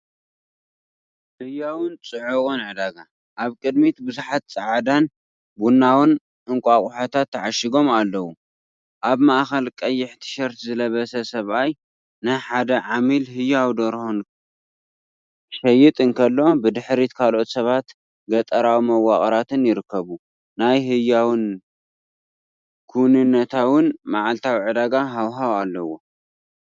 ህያውን ጽዑቕን ዕዳጋ፣ ኣብ ቅድሚት ብዙሓት ጻዕዳን ቡናውን እንቋቑሖታት ተዓሺጎም ኣለዉ። ኣብ ማእከል ቀይሕ ቲሸርት ዝለበሰ ሰብኣይ ንሓደ ዓሚል ህያው ደርሆ ክሸይጥ እንከሎ፡ ብድሕሪት ካልኦት ሰባትን ገጠራዊ መዋቕራትን ይርከቡ። ናይ ህያውን ክውንነታውን መዓልታዊ ዕዳጋ ሃዋህው ኣለዎ፡፡